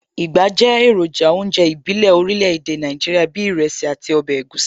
Ìgbá jẹ́ èròjà ọjọ́ ìbílẹ̀ orílẹ̀ èdè Nàìjíríà bíi ìrẹsì àti ọbẹ̀ egusi